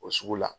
O sugu la